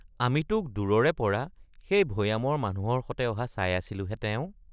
আমি তোক দূৰৰে পৰা সেই ভয়ামৰ মানুহৰ সতে অহা চাই আছিলোহে তেও।